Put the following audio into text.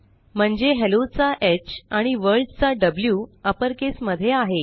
म्हणजे helloचा ह आणि वर्ल्ड चा व्ही अपरकेस मध्ये आहे